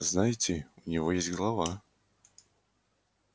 знаете у него есть голова